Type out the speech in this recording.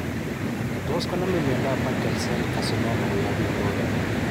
Tos konamin miondap Merkel cell carcinoma koyap pikwok iih?